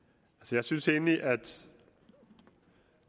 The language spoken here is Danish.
jeg synes egentlig at